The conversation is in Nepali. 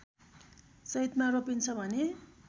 चैतमा रोपिन्छ भने